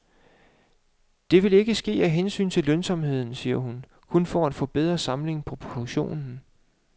Men det vil ikke ske af hensyn til lønsomheden, siger hun, kun for at få bedre samling på produktionen.